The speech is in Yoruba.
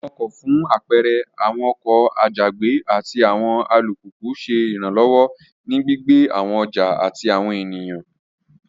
Awọn ọkọ fun apẹẹrẹ awọn oko àjàgbé, àti awọn àlùpupù ṣe iranlọwọ ni gbígbé awọn ọja ati awọn ènìyàn